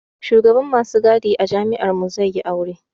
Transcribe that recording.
Shugaban masu gadi a jami'ar mu zai yi aure